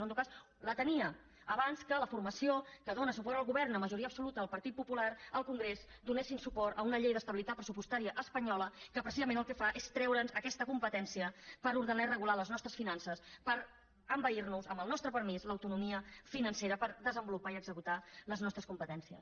o en tot cas la tenia abans que la formació que dóna suport al govern amb majoria absoluta el partit popular al congrés donés suport a una llei d’estabilitat pressupostària espanyola que precisament el que fa és treure’ns aquesta competència per ordenar i regular les nostres finances per envair nos amb el nostre permís l’autonomia financera per desenvolupar i executar les nostres competències